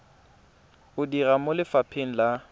o dira mo lefapheng la